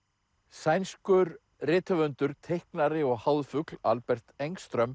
sænskur rithöfundur teiknari og Albert